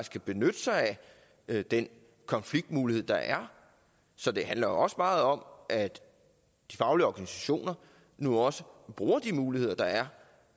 kan benytte sig af den konfliktmulighed der er så det handler jo også meget om at de faglige organisationer nu også bruger de muligheder der er